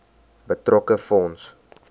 betrokke fonds